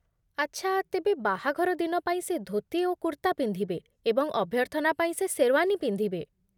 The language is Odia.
ଆଚ୍ଛା, ତେବେ ବାହାଘର ଦିନ ପାଇଁ ସେ ଧୋତି ଓ କୁର୍ତ୍ତା ପିନ୍ଧିବେ, ଏବଂ ଅଭ୍ୟର୍ଥନା ପାଇଁ ସେ ଶେର୍ୱାନୀ ପିନ୍ଧିବେ